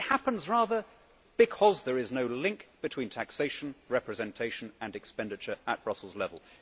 It happens rather because there is no link between taxation, representation and expenditure at Brussels level.